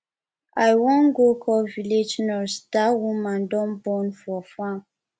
i wan go call village nurse dat woman don born for farm